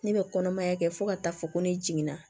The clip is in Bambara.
Ne bɛ kɔnɔmaya kɛ fo ka taa fɔ ko ne jiginna